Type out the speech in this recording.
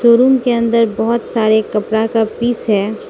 Room के अंदर बहोत सारे कपड़ा का पीस हैं।